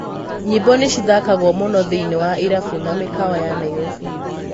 Nyĩmbo nĩcithakagwo mũno thĩinĩ wa ĩrabu na mĩkawa ya Nairobi.